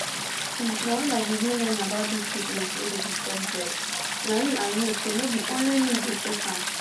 hmm na when i begin learn about dis sickness wey dey disturb bress na im i know say no be only me dey face am